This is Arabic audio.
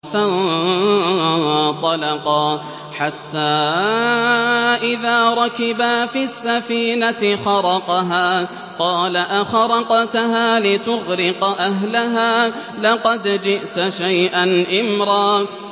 فَانطَلَقَا حَتَّىٰ إِذَا رَكِبَا فِي السَّفِينَةِ خَرَقَهَا ۖ قَالَ أَخَرَقْتَهَا لِتُغْرِقَ أَهْلَهَا لَقَدْ جِئْتَ شَيْئًا إِمْرًا